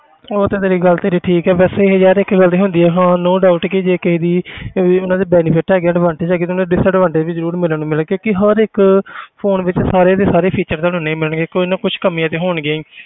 ਉਹ ਤੇ ਤੇਰੀ ਗੱਲ ਤੇਰੀ ਠੀਕ ਹੈ ਵੈਸੇ ਯਾਰ ਇੱਕ ਗੱਲ ਤੇ ਹੁੰਦੀ ਹੈ ਹਾਂ no doubt ਕਿ ਜੇ ਕਿਸੇ ਦੀ ਵੀ ਉਹਨਾਂ ਦੇ benefit ਹੈਗੇ advantage ਹੈਗੇ ਤੁਹਾਨੂੰ disadvantage ਵੀ ਜ਼ਰੂਰ ਮਿਲਣ ਮਿਲਣਗੇ ਕਿਉਂਕਿ ਹਰ ਇੱਕ phone ਵਿੱਚ ਸਾਰੇ ਦੇ ਸਾਰੇ feature ਤੁਹਾਨੂੰ ਨਹੀਂ ਮਿਲਣਗੇ ਕੁੱਝ ਨਾ ਕੁਛ ਕਮੀਆਂ ਤੇ ਹੋਣਗੀਆਂ ਹੀ